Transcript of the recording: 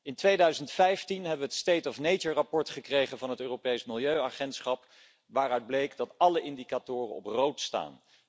In 2015 hebben we het State of Nature verslag gekregen van het Europees Milieuagentschap waaruit bleek dat alle indicatoren op rood staan.